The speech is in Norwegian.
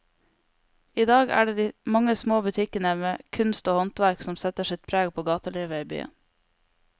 I dag er det de mange små butikkene med kunst og håndverk som setter sitt preg på gatelivet i byen.